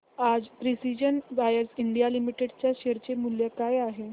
आज precision wires India limited च्या share चे मूल्य काय आहे